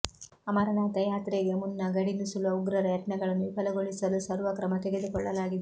ಅಮರನಾಥ ಯಾತ್ರೆಗೆ ಮುನ್ನ ಗಡಿ ನುಸುಳುವ ಉಗ್ರರ ಯತ್ನಗಳನ್ನು ವಿಫಲಗೊಳಿಸಲು ಸರ್ವ ಕ್ರಮ ತೆಗೆದುಕೊಳ್ಳಲಾಗಿದೆ